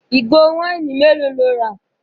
Ìgò wáìnì mélòó lo rà?